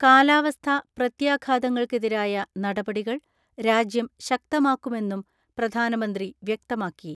കാലാവസ്ഥാ പ്രത്യാഘാതങ്ങൾക്കെതിരായ നടപടികൾ രാജ്യം ശക്തമാക്കുമെന്നും പ്രധാനമന്ത്രി വ്യക്തമാക്കി.